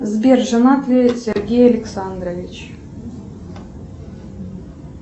сбер женат ли сергей александрович